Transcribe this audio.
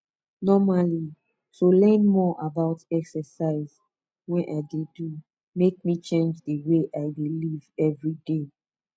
normally to learn more about exercise wey i dey do make me change the way i dey live every day